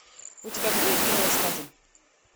у тебя будет кино искатель